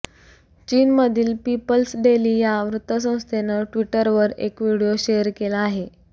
चीनमधील People's Daily या वृत्तसंस्थेनं ट्विटरवर एक व्हिडीओ शेअर केला आहे